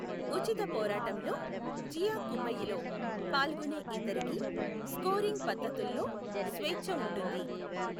ఉచిత పోరాటంలో, జియా కుమ్మయిలో, పాల్గొనే ఇద్దరికీ స్కోరింగ్ పద్ధతులులో స్వేచ్ఛ ఉంటుంది.